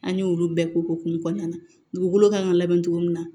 An y'olu bɛɛ kokumu kɔnɔna na dugukolo kan ka labɛn cogo min na